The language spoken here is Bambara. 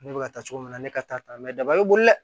Ne bɛ ka taa cogo min na ne ka taa mɛ daba bɛ boli dɛ